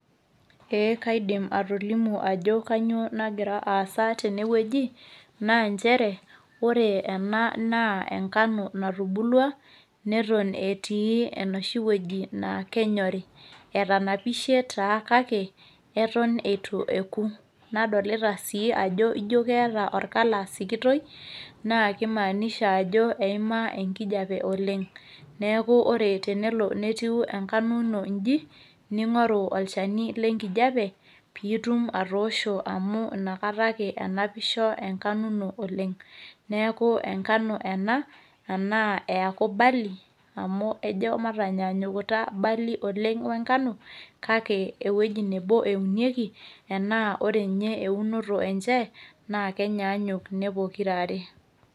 ee kaidim atolimu ajo kainyioo nagira aasa tene wueji, ore ena naa engano natubulua, neton etii enoshi wueji naa kenyorri. etanapishe taa kake eton eitu eku. nadolita sii ajo ijo keeta or colour sikitoi naa kimaanisha ajo eima enkijiape oleng. neeku ore pe etiu engano in iji ning'oru olvchani lenkijiape pee itum atoosho amu inakata ake enapisho enkano ino oleng. neku engano ena ashu eeku berley amu ejo mataanyaanyukita berley oleng we ngano, amu ewueji nebo eunieki, ore ninye eunoto enye kenyaanyuk ine pokira are.